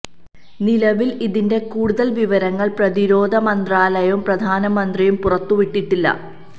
നിലവില് ഇതിന്റെ കൂടുതല് വിവരങ്ങള് പ്രതിരോധ മന്ത്രാലയവും പ്രധാനമന്ത്രിയും പുറത്തു വിട്ടിട്ടില്ല